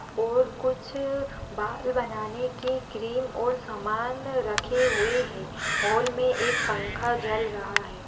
और कुछ बाल बनाने के क्रीम और समान रखे हुए है हॉल मे एक पंखा चल रहा है।